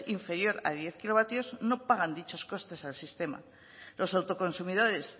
inferior a diez kilovatios no pagan dichos costes al sistema los autoconsumidores